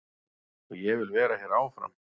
Og ég vil vera hér áfram.